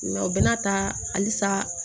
u bɛna taa halisa